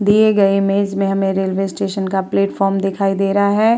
दिए गए इमेज में हमें रेलवे स्टेशन का प्लेटफार्म दिखाई दे रहा है।